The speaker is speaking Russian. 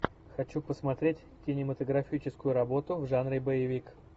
хочу посмотреть кинематографическую работу в жанре боевик